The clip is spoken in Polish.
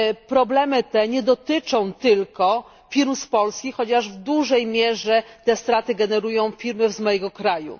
Problemy te nie dotyczą tylko firm z Polski, chociaż w dużej mierze te straty generują firmy z mojego kraju.